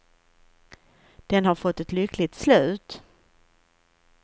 Den har fått ett lyckligt slut.